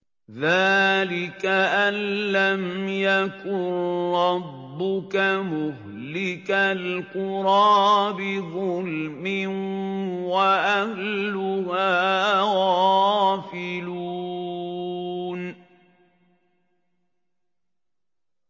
ذَٰلِكَ أَن لَّمْ يَكُن رَّبُّكَ مُهْلِكَ الْقُرَىٰ بِظُلْمٍ وَأَهْلُهَا غَافِلُونَ